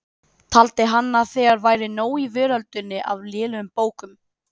Taldi hann að þegar væri nóg í veröldinni af lélegum bókum.